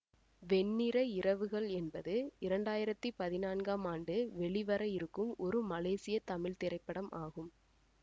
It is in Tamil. வெண்ணிற இரவுகள் என்பது இரண்டாயிரத்தி பதினான்காம் ஆண்டு வெளிவரவிருக்கும் ஒரு மலேசிய தமிழ் திரைப்படம் ஆகும்